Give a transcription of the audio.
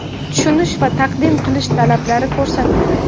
tushunish va taqdim qilish talablari ko‘rsatildi.